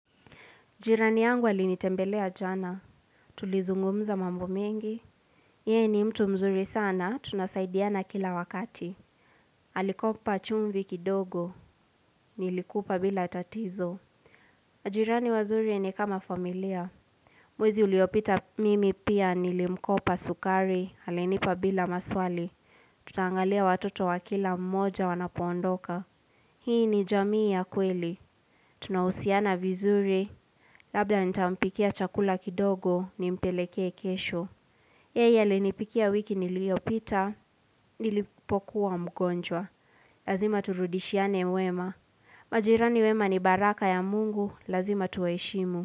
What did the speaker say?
Jirani yangu alinitembelea jana. Tulizungumza mambo mengi. Yeye ni mtu mzuri sana, tunasaidiana kila wakati. Alikopa chumvi kidogo. Nilikupa bila tatizo. Jirani wazuri ni kama familia. Mwezi uliopita mimi pia nilimkopa sukari. Alinipa bila maswali. Tutaangalia watoto wa kila mmoja wanapoondoka. Hii ni jamii ya kweli. Tunahusiana vizuri. Labda nitampikia chakula kidogo ni mpeleke kesho. Yeye ali nipikia wiki niliyopita, nilipokuwa mgonjwa. Lazima turudishiane wema. Majirani wema ni baraka ya mungu, lazima tuwaheshimu.